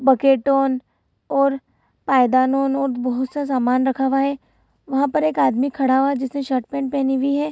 Bucket ओन और पायदान और बहुत सा समान रखा हुआ हैं वहाँ पर एक आदमी खड़ा हुआ है जिसने शर्ट पैंट पेहनी भी है।